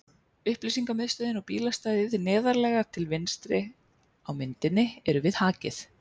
Upplýsingamiðstöðin og bílastæðið neðarlega til vinstri á myndinni eru við Hakið.